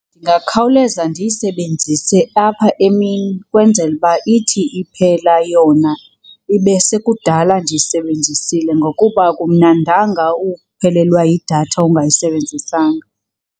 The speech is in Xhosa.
Ndingakhawuleza ndiyisebenzise apha emini ukwenzela uba ithi iphela yona ibe sekudala ndiyisebenzisile ngokuba akumnandanga ukuphelelwa yidatha ungayisebenzisanga.